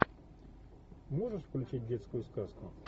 можешь включить детскую сказку